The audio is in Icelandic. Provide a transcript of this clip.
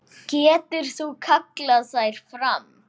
Getur ekki kallað þær fram.